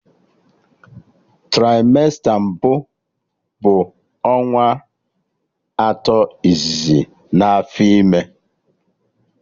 Traimesta mbụ bụ ọnwa atọ izizi n'afọ ime